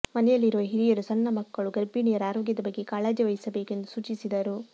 ಮನೆಯಲ್ಲಿರುವ ಹಿರಿಯರು ಸಣ್ಣ ಮಕ್ಕಳು ಗರ್ಭಿಣಿಯರ ಆರೋಗ್ಯದ ಬಗ್ಗೆ ಕಾಳಜಿ ವಹಿಸಬೇಕು ಎಂದು ಸೂಚಿಸಿದರು